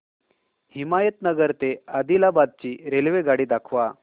हिमायतनगर ते आदिलाबाद ची रेल्वेगाडी दाखवा